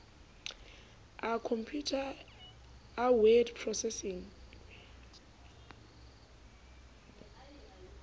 a khompeuta a word processing